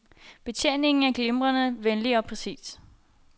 Betjeningen er glimrende, venlig og præcis.